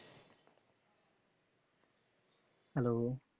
hello